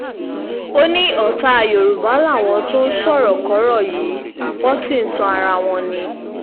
ó ní ọ̀tá yorùbá làwọn tó ń sọ̀rọ̀kọ́rọ̀ yìí wọ́n sì ń tan ara wọn ni